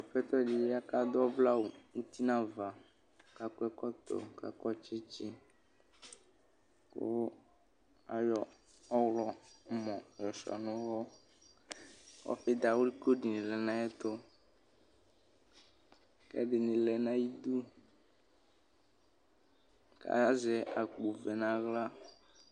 aƒɛtɔ di ya kʋ adʋ ɔvlɛ awu uti nu avaku akɔ ɛkɔtɔ , ku akɔ tsitsiku ayɔ ɔɣlɔmɔ yɔsuia nu uwɔɔfi dawli ko dini lɛnu ayiʋ ɛtuku ɛdini lɛnu ayiʋ iduku azɛ akpo vɛ nu aɣla